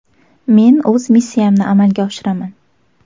Men o‘z missiyamni amalga oshiraman.